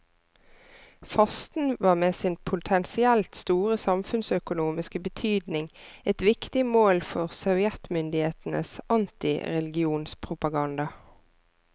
Fasten var med sin potensielt store samfunnsøkonomiske betydning et viktig mål for sovjetmyndighetenes antireligionspropaganda.